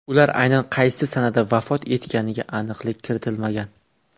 Ular aynan qaysi sanada vafot etganiga aniqlik kiritilmagan.